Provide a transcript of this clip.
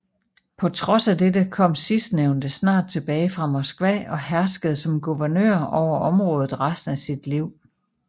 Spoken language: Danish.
På trods af dette kom sidstnævnte snart tilbage fra Moskva og herskede som guvernør over området resten af sit liv